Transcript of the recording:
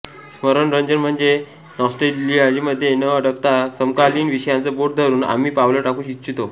स्मरणरंजन म्हणजे नॉस्टेल्जियामध्ये न अडकता समकालीन विषयांचं बोट धरून आम्ही पावलं टाकू इच्छितो